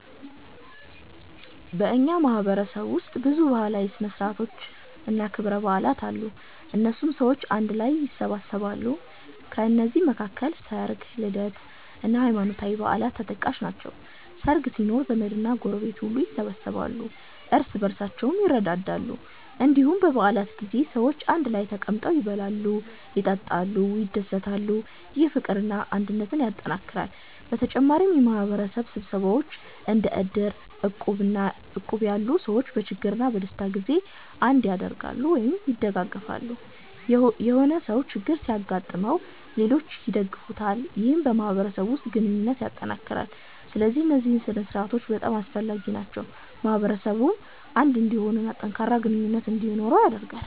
በእኛ ማህበረሰብ ውስጥ ብዙ ባህላዊ ሥነ ሥርዓቶችና ክብረ በዓላት አሉ፣ እነሱም ሰዎችን አንድ ላይ ያሰባስባሉ። ከነዚህ መካከል ሰርግ፣ ልደት እና ሃይማኖታዊ በዓላት ተጠቃሽ ናቸው። ሰርግ ሲኖር ዘመድና ጎረቤት ሁሉ ይሰበሰባሉ፣ እርስ በርሳቸውም ይረዳዳሉ። እንዲሁም በ በዓላት ጊዜ ሰዎች አንድ ላይ ተቀምጠው ይበላሉ፣ ይጠጣሉ፣ ይደሰታሉ። ይህ ፍቅርና አንድነትን ያጠናክራል። በተጨማሪም የማህበረሰብ ስብሰባዎች እንደ እድር እና እቁብ ያሉ ሰዎችን በችግርና በደስታ ጊዜ አንድ ያደርጋሉ(ያደጋግፋሉ)።የሆነ ሰው ችግር ሲገጥመው ሌሎች ይደግፉታል ይህም በማህበረሰቡ ውስጥ ግንኙነትን ያጠናክራል። ስለዚህ እነዚህ ሥነ ሥርዓቶች በጣም አስፈላጊ ናቸው፣ ማህበረሰቡን አንድ እንዲሆን እና ጠንካራ ግንኙነት እንዲኖረው ያደርጋሉ።